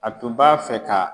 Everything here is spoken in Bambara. A tun b'a fɛ ka